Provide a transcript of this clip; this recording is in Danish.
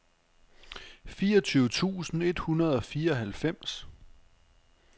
fireogtyve tusind et hundrede og fireoghalvfems